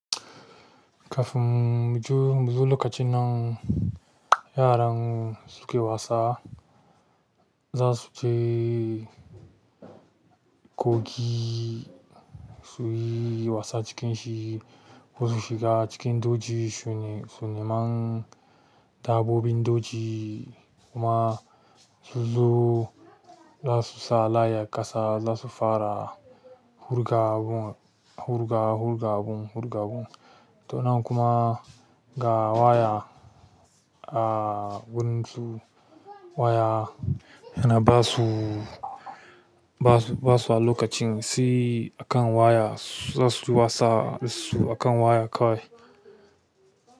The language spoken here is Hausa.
Kafin muju-muju lokacin nan yaran suke wasa, za su je kogi suyi wasa cikin shi. Ko su shiga cikin doji sune-suniman dabbobin doji kuma su zo za su sa layya kasa, za su fara hurga-abun, hurga, hurga-abun, hurga-abun. To nan kuma ga waya a wurin su waya yana ba su ba su a lokacin si akan waya zasu duba sa su akan waya kawai.